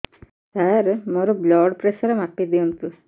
ସାର ମୋର blood pressure ମାପି ଦିଅନ୍ତୁ